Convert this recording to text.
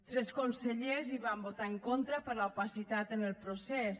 tres consellers hi van votar en contra per l’opacitat en el procés